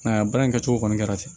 Nka baara in kɛcogo kɔni kɛra ten